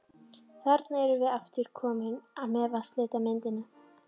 Þarna erum við aftur komin að vatnslitamyndinni.